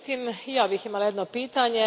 Međutim, i ja bih imala jedno pitanje.